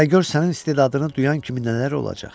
Hələ gör sənin istedadını duyan kimi nələr olacaq.